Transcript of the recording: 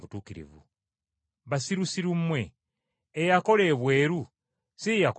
Basirusiru mmwe eyakola ebweru si ye yakola ne munda?